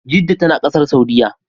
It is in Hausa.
Jedda tana Ƙasar Saudiya